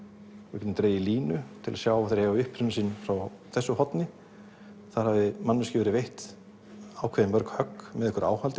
við getum dregið línu til að sjá að þeir eiga uppruna sinn frá þessu horni þar hafi manneskju verið veitt ákveðið mörg högg með einhverju